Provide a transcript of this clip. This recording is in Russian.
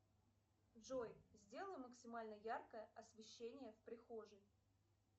джой сделай максимально яркое освещение в прихожей